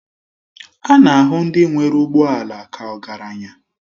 A na-ahụ ndị nwere ụgbọ ala ka ọgaranya